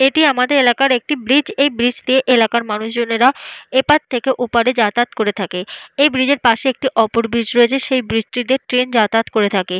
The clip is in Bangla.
এটি আমাদের এলাকার একটি ব্রিজ । এই ব্রিজ দিয়ে এলাকার মানুষজনেরা এপার থেকে ওপার যাতায়াত করে থাকে। এই ব্রিজ এর পাশে একটি অপর ব্রিজ রয়েছে। সেই ব্রিজ টিতে ট্রেন যাতায়াত করে থাকে।